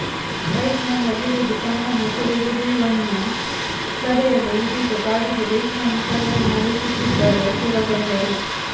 bike number ಹಿಡಿದು ತಮ್ಮನ್ನು ಸೆರೆ ಹಿಡಿಯುವುನ್ನು ತಡೆಯಲು ಇದೀಗ ಬಾಡಿಗೆ ಬೈಕ್ನಲ್ಲಿ ಸಾವರಿ ನಡೆಸುತ್ತಿದ್ದಾರೆ ಸರಗಳ್ಳರು